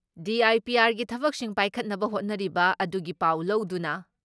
ꯗꯤ.ꯑꯥꯏ.ꯄꯤ.ꯑꯥꯔꯒꯤ ꯊꯕꯛꯁꯤꯡ ꯄꯥꯏꯈꯠꯅꯕ ꯍꯣꯠꯅꯔꯤꯕ ꯑꯗꯨꯒꯤ ꯄꯥꯎ ꯂꯧꯗꯨꯅ